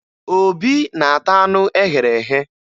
Obi na-ata anụ e ghere eghe